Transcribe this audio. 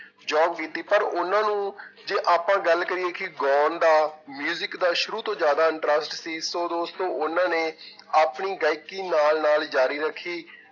Job ਕੀਤੀ ਪਰ ਉਹਨਾਂ ਨੂੰ ਜੇ ਆਪਾਂ ਗੱਲ ਕਰੀਏ ਕਿ ਗਾਉਣ ਦਾ ਦਾ ਸ਼ੁਰੂ ਤੋਂ ਜ਼ਿਆਦਾ interest ਸੀ ਸੋ ਦੋਸਤੋ ਉਹਨਾਂ ਨੇ ਆਪਣੀ ਗਾਈਕੀ ਨਾਲ ਨਾਲ ਜ਼ਾਰੀ ਰੱਖੀ।